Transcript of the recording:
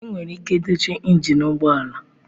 Enwere ike dochie injin ụgbọ ala.